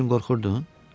Mənim üçün qorxurdun?